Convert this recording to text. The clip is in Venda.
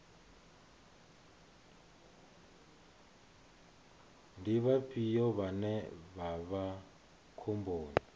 ndi vhafhio vhane vha vha khomboni